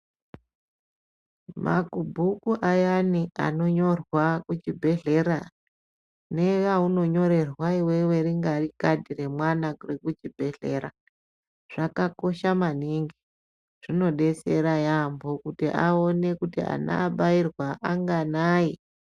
Makubhuku ayani anonyorwa kuchibhedhlera neaunonyorerwa iwewe rinyari khadhi remwana raunonyorerwa kuchibhedhlera riyani zvakakosha maningi kuona kuti ana abairwa anganayi.